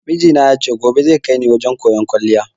Mijina ya ce gobe zai kaini wajen koyan kwaliya